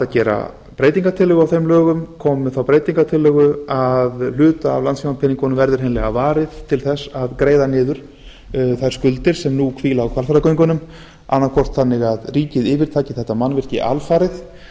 gera breytingartillögu á þeim lögum koma með þá breytingartillögu að hluta af landssímapeningunum skuldir hreinlega varið til þess að greiða niður þær skuldir sem nú hvíla á hvalfjarðargöngunum annaðhvort að ríkið yfirtaki þetta mannvirki alfarið